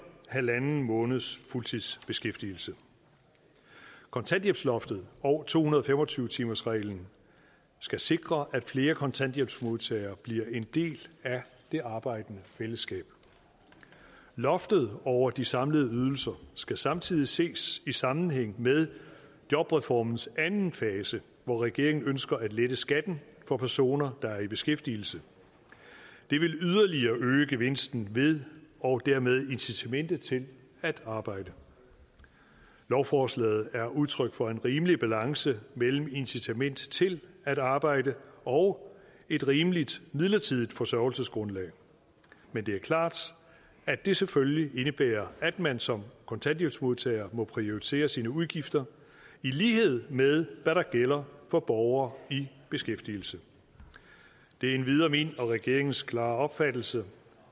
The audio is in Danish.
halv måneds fuldtidsbeskæftigelse kontanthjælpsloftet og to hundrede og fem og tyve timersreglen skal sikre at flere kontanthjælpsmodtagere bliver en del af det arbejdende fællesskab loftet over de samlede ydelser skal samtidig ses i sammenhæng med jobreformens anden fase hvor regeringen ønsker at lette skatten for personer der er i beskæftigelse det vil yderligere øge gevinsten ved og dermed incitamentet til at arbejde lovforslaget er udtryk for en rimelig balance mellem incitament til at arbejde og et rimeligt midlertidigt forsørgelsesgrundlag men det er klart at det selvfølgelig indebærer at man som kontanthjælpsmodtager må prioritere sine udgifter i lighed med hvad der gælder for borgere i beskæftigelse det er endvidere min og regeringens klare opfattelse